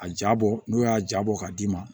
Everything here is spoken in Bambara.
A jaa bɔ n'o y'a ja bɔ k'a d'i ma